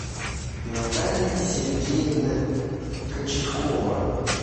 наталья сергеевна кочеткова